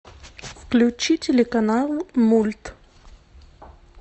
включи телеканал мульт